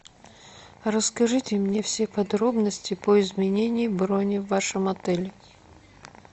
расскажите мне все подробности по изменению брони в вашем отеле